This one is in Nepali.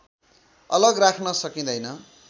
अलग राख्न सकिँदैन